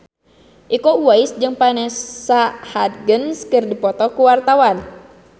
Iko Uwais jeung Vanessa Hudgens keur dipoto ku wartawan